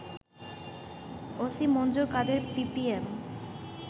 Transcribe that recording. OC Manjur Kader PPM